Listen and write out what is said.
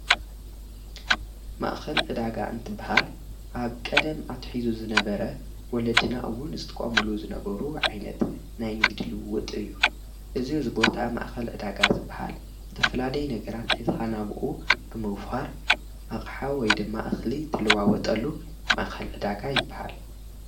ማእኸል እዳጋ እንትበሃል ኣብ ቀደም ኣትሒዙ ዝነበረ ወለድናእውን ዝትቛሙሉ ዝነበሩ ዓይነት ናይ ንግድልውጥ እዩ እዝ ዝቦታ ማእኸል ዕዳጋ ዝበሃል ዝተፈላለይ ነገራት ኂዝኻ ናብኡ ብምውፍሃር ኣቕሓ ወይ ድማ እኽሊ ትልዋወጠሉ ማእኸል እዳጋ ይበሃል።